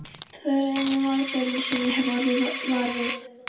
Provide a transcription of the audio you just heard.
Það eru einu mannaferðirnar sem ég hef orðið var við.